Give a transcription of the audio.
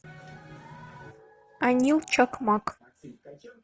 анил чакмак